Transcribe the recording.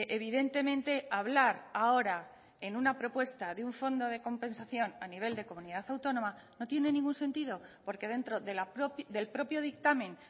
evidentemente hablar ahora en una propuesta de un fondo de compensación a nivel de comunidad autónoma no tiene ningún sentido porque dentro del propio dictamen